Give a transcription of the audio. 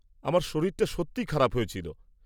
আমার শরীরটা সত্যিই খারাপ হয়েছিল।